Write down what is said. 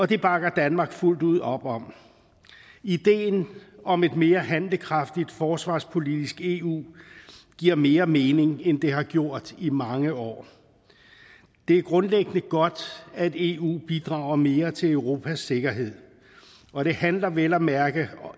det bakker danmark fuldt ud op om ideen om et mere handlekraftigt forsvarspolitisk eu giver mere mening end det har gjort i mange år det er grundlæggende godt at eu bidrager mere til europas sikkerhed og det handler vel at mærke